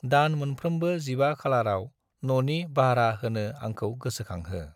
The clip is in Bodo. दान मोनफ्रोमबो 15 खालारआव न'नि बाह्रा होनो आंखौ गोसोखांहो।